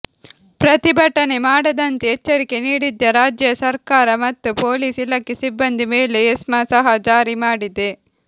ಪ್ರತಿಭಟನೆ ಮಾಡದಂತೆ ಎಚ್ಚರಿಕೆ ನೀಡಿದ್ದ ರಾಜ್ಯ ಸರ್ಕಾರ ಮತ್ತು ಪೊಲೀಸ್ ಇಲಾಖೆ ಸಿಬ್ಬಂದಿ ಮೇಲೆ ಎಸ್ಮಾ ಸಹ ಜಾರಿ ಮಾಡಿದೆ